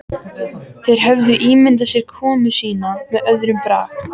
Þeir höfðu ímyndað sér komu sína með öðrum brag.